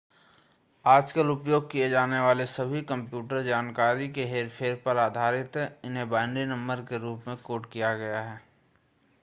आजकल उपयोग किए जाने वाले सभी कंप्यूटर जानकारी के हेरफेर पर आधारित हैं इन्हें बाइनरी नंबर के रूप में कोड किया गया है